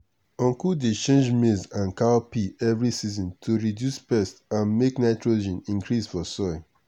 uncle dey change maize and cowpea every season to reduce pest and make nitrogen increase for soil.